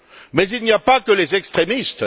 Mais il n'y a pas que les extrémistes.